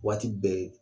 Waati bɛɛ